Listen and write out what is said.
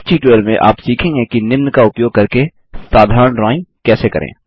इस ट्यूटोरियल में आप सीखेंगे कि निम्न का उपयोग करके साधारण ड्राइंग कैसे करें